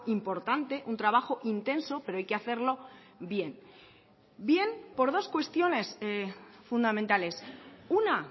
importante un trabajo intenso pero hay que hacerlo bien bien por dos cuestiones fundamentales una